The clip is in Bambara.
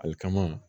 Ale kama